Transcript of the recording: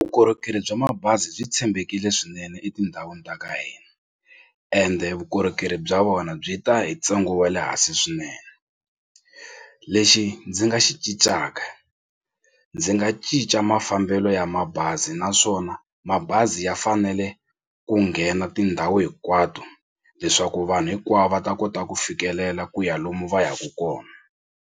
Vukorhokeri bya mabazi byi tshembekile swinene etindhawini ta ka hina ende vukorhokeri bya wona byi ta hi ntsengo wa le hansi swinene lexi ndzi nga xi cincaka ndzi nga cinca mafambelo ya mabazi naswona mabazi ya fanele ku nghena tindhawu hinkwato leswaku vanhu hinkwavo va ta kota ku fikelela ku ya lomu va yaka kona.